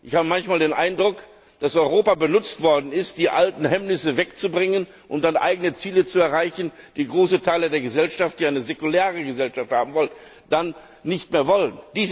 Ich habe manchmal den Eindruck, dass Europa benutzt worden ist, die alten Hemmnisse wegzubringen und dann eigene Ziele zu erreichen, die große Teile der Gesellschaft, die eine säkulare Gesellschaft haben wollen, dann nicht mehr wollen.